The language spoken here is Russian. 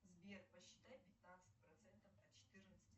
сбер посчитай пятнадцать процентов от четырнадцати